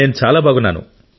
నేను చాలా బాగున్నాను